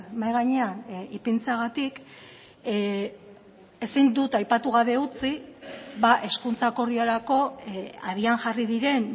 mahai gainean ipintzeagatik ezin dut aipatu gabe utzi hezkuntza akordiorako abian jarri diren